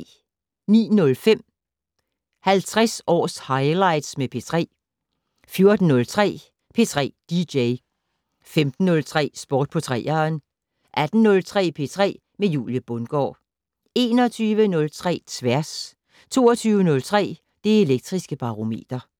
09:05: 50 års highlights med P3 14:03: P3 dj 15:03: Sport på 3'eren 18:03: P3 med Julie Bundgaard 21:03: Tværs 22:03: Det Elektriske Barometer